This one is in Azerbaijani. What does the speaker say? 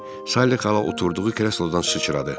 Sally xala oturduğu kreslodan sıçradı.